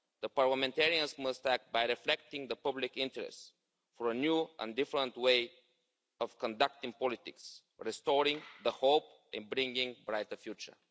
Parliamentarians must act by reflecting the public interest for a new and different way of conducting politics, restoring hope and bringing a brighter future.